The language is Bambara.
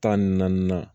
Tan ni naani na